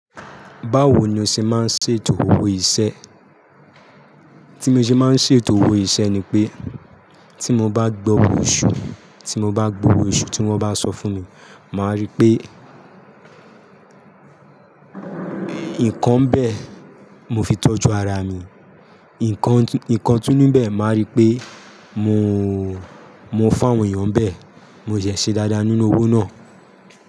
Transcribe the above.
Báwo ni o ṣe máa ń ṣe ètò owó iṣẹ́? Tí mo ṣe máa ń ṣe ètò owó iṣẹ́ ni pé, tí mo bá gbọ́ owó oṣu, tí mo bá gbowó oṣu tí wọ́n bá sọ fún mi, màá rí pé nǹkan bẹ́ẹ̀ mo fi tọ́jú ara mi, nǹkan, nǹkan túnú bẹ́ẹ̀ máa rí pé mo, mo fáwọn èèyàn bẹ́ẹ̀, mo ṣẹ̀ ṣe dáadáa nínú owó náà.